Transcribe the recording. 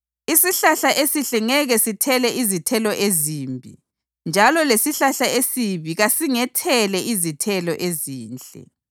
Isihlahla esihle ngeke sithele izithelo ezimbi njalo lesihlahla esibi kasingethele izithelo ezinhle.